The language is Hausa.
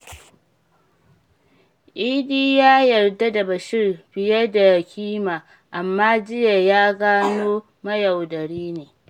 Idi ya yarda da Bashir fiye da kima, amma jiya ya gano mayaudari ne.